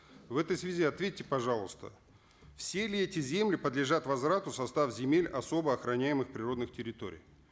в этой связи ответьте пожалуйста все ли эти земли подлежат возврату в состав земель особо охраняемых природных территорий